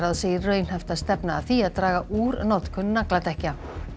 segir raunhæft að stefna að því að draga úr notkun nagladekkja